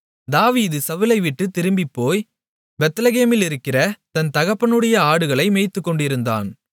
தாவீது சவுலைவிட்டுத் திரும்பிப்போய் பெத்லெகேமிலிருக்கிற தன் தகப்பனுடைய ஆடுகளை மேய்த்துக்கொண்டிருந்தான்